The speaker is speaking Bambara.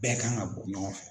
Bɛɛ kan ka bɔ ɲɔgɔn fɛ